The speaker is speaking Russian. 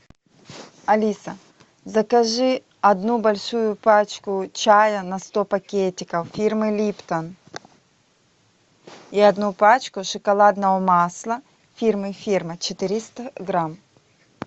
алиса закажи одну большую пачку чая на сто пакетиков фирмы липтон и одну пачку шоколадного масла фирмы фирма четыреста грамм